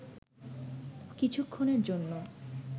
কিছুক্ষণের জন্য